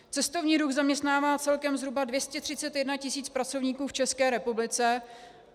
Cestovní ruch zaměstnává celkem zhruba 231 tisíc pracovníků v České republice.